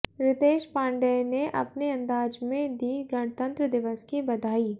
रितेश पांडेय ने अपने अंदाज में दी गणतंत्र दिवस की बधाई